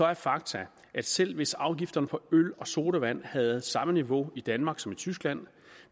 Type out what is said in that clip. er faktum at selv hvis afgifterne på øl og sodavand havde samme niveau i danmark som i tyskland